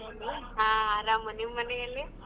ಹಾ ಆರಾಂ ನಿಮ್ಮನೆಯಲ್ಲಿ?